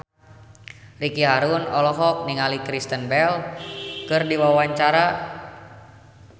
Ricky Harun olohok ningali Kristen Bell keur diwawancara